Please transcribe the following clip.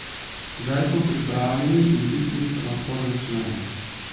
Zdaj smo pripravljeni, in piknik se lahko začne.